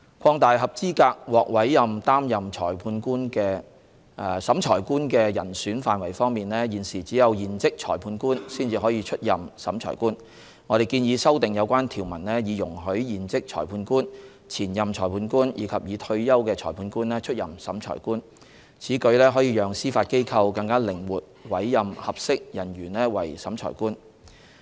擴大合資格獲委任擔任審裁官的人選範圍方面，現時只有現職裁判官才可出任審裁官。我們建議修訂有關條文以容許現職裁判官、前任裁判官及已退休的裁判官出任審裁官。此舉可讓司法機構更靈活委任合適人員為審裁官。